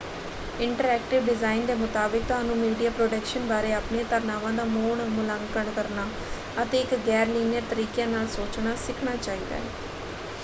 Interactive design ਦੇ ਮੁਤਾਬਕ ਤੁਹਾਨੂੰ ਮੀਡੀਆ ਪ੍ਰੋਡਕਸ਼ਨ ਬਾਰੇ ਆਪਣੀਆਂ ਧਾਰਨਾਵਾਂ ਦਾ ਮੁੜ ਮੁਲਾਂਕਣ ਕਰਨਾ ਅਤੇ ਇੱਕ ਗੈਰ-ਲੀਨੀਅਰ ਤਰੀਕਿਆਂ ਨਾਲ ਸੋਚਣਾ ਸਿੱਖਣਾ ਚਾਹੀਦਾ ਹੈ।